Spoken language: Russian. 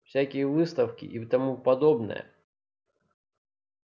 всякие выставки и тому подобное